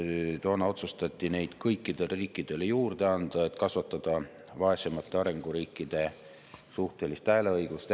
Toona otsustati neid kõikidele riikidele juurde anda, et kasvatada vaesemate arenguriikide suhtelist hääleõigust.